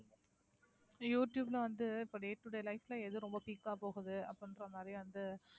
யூடுயூப்ல வந்து இப்போ day to day life ல எது ரொம்ப ஆ போகுது அப்படின்ற மாதிரி வந்து